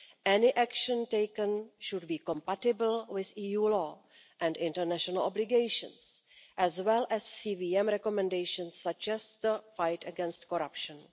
Any the action taken should be compatible with EU law and international obligations, as well as CVM recommendations such as the fight against corruption.